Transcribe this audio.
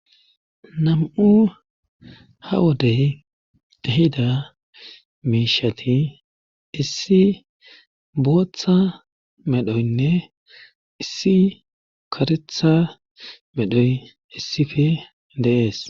Nam7u ha wodey tahida miishati issi booththa medhoynne issi karetha medhoy issife dees.